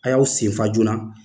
A y'aw senfa joona